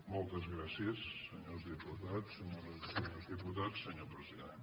moltes gràcies senyors diputats senyores i senyors di·putats senyor president